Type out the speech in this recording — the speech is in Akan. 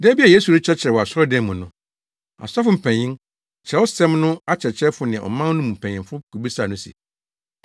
Da bi a Yesu rekyerɛkyerɛ wɔ asɔredan mu no, asɔfo mpanyin, Kyerɛwsɛm no akyerɛkyerɛfo ne ɔman no mu mpanyin kobisaa no se,